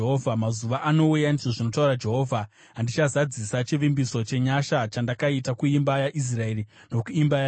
“ ‘Mazuva anouya,’ ndizvo zvinotaura Jehovha, andichazadzisa chivimbiso chenyasha chandakaita kuimba yaIsraeri nokuimba yaJudha.